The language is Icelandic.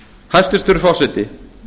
hæstvirtur forseti